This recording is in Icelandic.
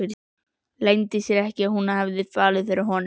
Leyndi sér ekki að hún hafði fallið fyrir honum.